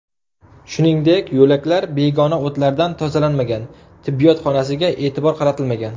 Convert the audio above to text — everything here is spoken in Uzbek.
Shuningdek, yo‘laklar begona o‘tlardan tozalanmagan, tibbiyot xonasiga e’tibor qaratilmagan.